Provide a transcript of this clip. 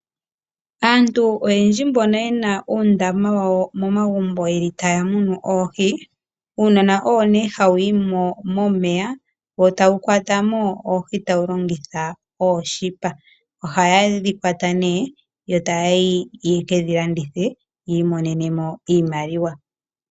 Aantu oyendji mbono ye na uundama wawo momagumbo yeli taya munu oohi uunona owo nee hawu yimo momeya wo tawu kwata mo oohi tawu longitha oonete ohaye dhi kwata nee yo taya yi yeke dhi landithe yiimonenemo iimaliwa.